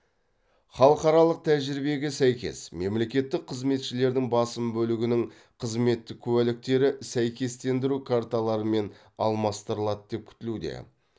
халықаралық тәжірибеге сәйкес мемлекеттік қызметшілердің басым бөлігінің қызметтік куәліктері сәйкестендіру карталарымен алмастырылады деп күтілуде